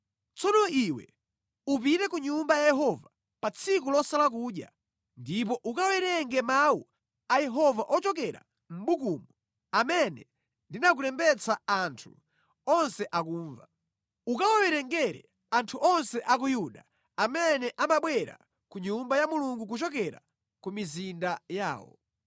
Tsono iwe upite ku Nyumba ya Yehova pa tsiku losala kudya ndipo ukawerenge mawu a Yehova ochokera mʼbukumu amene ndinakulembetsa anthu onse akumva. Ukawawerengere anthu onse a ku Yuda amene amabwera ku Nyumba ya Mulungu kuchokera ku mizinda yawo.